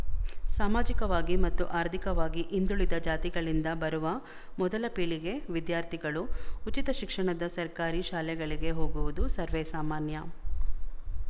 ಸಾಮಾಜಿಕವಾಗಿ ಮತ್ತು ಆರ್ಥಿಕವಾಗಿ ಹಿಂದುಳಿದ ಜಾತಿಗಳಿಂದ ಬರುವ ಮೊದಲ ಪೀಳಿಗೆ ವಿದ್ಯಾರ್ಥಿಗಳು ಉಚಿತ ಶಿಕ್ಷಣದ ಸರ್ಕಾರಿ ಶಾಲೆಗಳಿಗೆ ಹೋಗುವುದು ಸರ್ವೇ ಸಾಮಾನ್ಯ